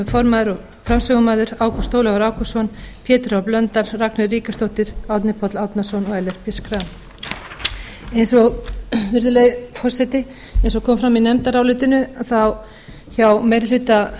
ásta möller formaður og áfram ágúst ólafur ágústsson pétur h blöndal ragnheiður ríkharðsdóttir árni páll árnason og ellert b schram virðulegi forseti eins og kom fram í nefndarálitinu hjá meiri hluta